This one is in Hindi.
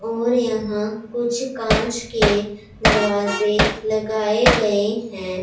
और यहां कुछ कांच के दरवाजे लगाए गए हैं।